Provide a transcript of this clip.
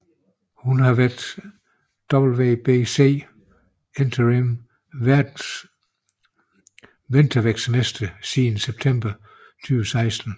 Hun har været WBC Interim Weltervægtsmester siden september 2016